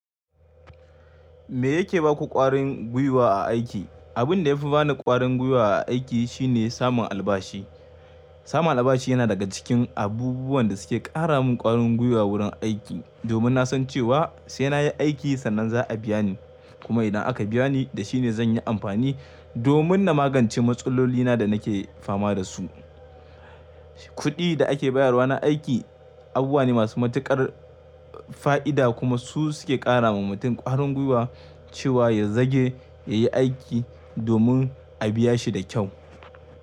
Me yake ba ku ƙwarin gwiwa a aiki? Abin da ya fi bani ƙwarin gwiwa a aiki shine samun albashi. Samun albashi yana daga cikin abubuwan da suke ƙara min ƙwarin gwiwa wurin aiki, domin na san cewa sai na yi aiki sannan za a biya ni, kuma idan aka biya ni da shi ne zan yi amfani domin na magance matsalolina da nake fama da su. Kuɗi da ake bayarwa na aiki abubuwa ne masu matuƙar fa'ida kuma su suke ƙara wa mutum ƙwarin gwiwa cewa ya zage ya yi aiki domin a biya shi da kyau.